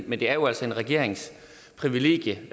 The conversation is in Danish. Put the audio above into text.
men det er jo altså en regerings privilegie